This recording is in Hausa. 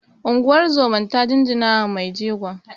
Unguwar zomar ta jinjinawa mai jegon